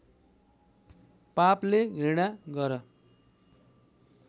पापले घृणा गर